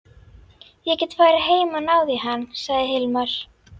Ég get farið heim og náð í hann, sagði Hilmar.